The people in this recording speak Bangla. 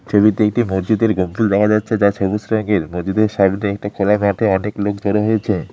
ছবিতে একটি মসজিদের গোম্বুজ দেখা যাচ্ছে যা সবুজ রংয়ের মসজিদের সামনে একটি খোলা মাঠে অনেক লোক জড়ো হয়েছে।